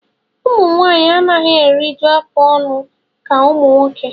Ụmụnwaanyị anaghị eruju afụ ọnụ ka ụmụ nwoke